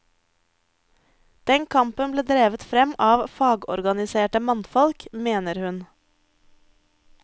Den kampen ble drevet frem av fagorganiserte mannfolk, mener hun.